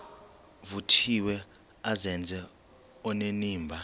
vuthiwe azenze onenimba